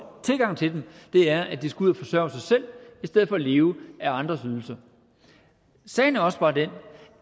tilgang til dem er at de skal ud og forsørge sig selv i stedet for at leve af andres ydelser sagen er også bare den